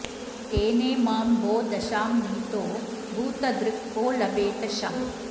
तेनेमां भो दशां नीतो भूतध्रुक् को लभेत शम्